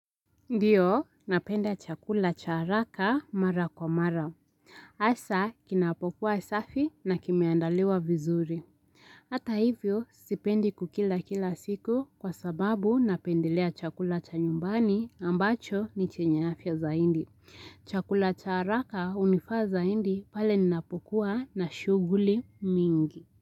Ndio, napenda chakula cha haraka mara kwa mara. Asa, kinapo kuwa safi na kimeandaliwa vizuri. Hata hivyo, sipendi kukila kila siku kwa sababu napendelea chakula cha nyumbani ambacho ni chenye afya zaindi. Chakula cha haraka hunifaa zaindi pale ninapokuwa na shughuli mingi.